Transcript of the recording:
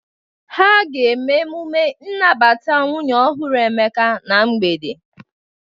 Ha ga-aga emume nnabata nwunye ọhụrụ Emeka na mgbede?